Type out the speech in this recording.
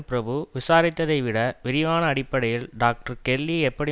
பிரபு விசாரித்ததைவிட விரிவான அடிப்படையில் டாக்டர் கெல்லி எப்படி